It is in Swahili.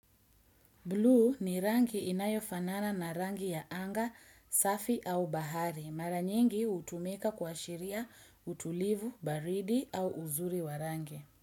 Blue ni rangi inayofanana na rangi ya anga, safi au bahari. Mara nyingi hutumika kwa shiria utulivu, baridi au uzuri wa rangi.